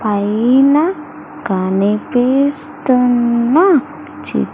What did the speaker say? పైన కనిపిస్తున్ని చి--